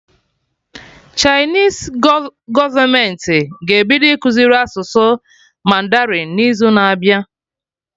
Chinese gọọmenti ga-ebido ịkụziri asụsụ mandarin n'izu na abịa